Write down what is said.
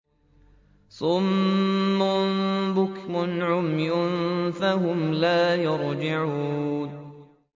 صُمٌّ بُكْمٌ عُمْيٌ فَهُمْ لَا يَرْجِعُونَ